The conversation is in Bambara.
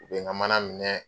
U be ŋa mana minɛ